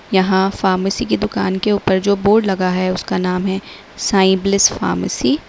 यहां फार्मेसी की दुकान के ऊपर जो बोर्ड लगा है उसका नाम है साईं ब्लिस फार्मेसी ।